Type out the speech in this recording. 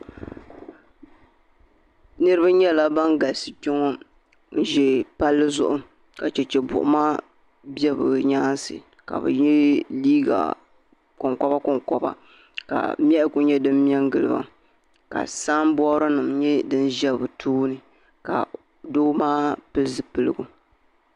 Niraba nyɛla ban galisi kpɛ ŋo n ʒɛ palli zuɣu ka chɛchɛ buɣuma bɛ bi nyaansi ka bi yɛ liiga konkoba konkoba ka niɣi ku nyɛ din mɛ n giliba ka sanbood nim nyɛ din ʒɛ bi tooni ka doo maa pili zipiligu